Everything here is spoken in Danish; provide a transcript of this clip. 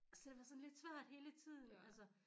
Så det var sådan lidt svært hele tiden altså